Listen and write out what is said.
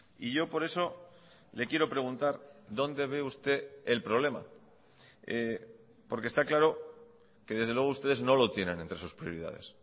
y yo por eso le quiero preguntar dónde ve usted el problema porque está claro que desde luego ustedes no lo tienen entre sus prioridades